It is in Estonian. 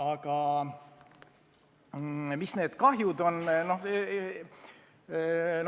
Kui suur on kahju?